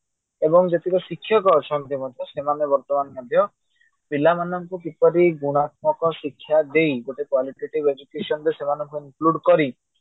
ଏବଂ ଯେତିକ ଶିକ୍ଷକ ଅଛନ୍ତି ସେମାନେ ବର୍ତମାନ ମଧ୍ୟ ପିଲାମାନଙ୍କୁ କିପରି ଗୁଣାତ୍ମକ ଶିକ୍ଷା ଦେଇ ଗୋଟେ qualitative education ରେ ସେମାନଙ୍କୁ include କରି